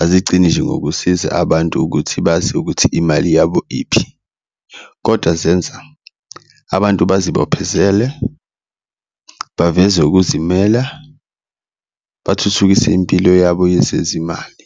azigcini nje ngokusiza abantu ukuthi bazi ukuthi imali yabo iphi, kodwa zenza abantu bazibophezele, baveze ukuzimela, bathuthukise impilo yabo yezezimali.